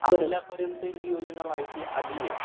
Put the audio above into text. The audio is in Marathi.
आपल्यापर्यंत ही योजना माहिती आली आहे